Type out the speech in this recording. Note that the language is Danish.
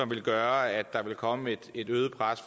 vil gøre at der vil komme et øget pres